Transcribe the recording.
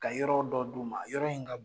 Ka yɔrɔ dɔ d'u ma yɔrɔ in ka bon.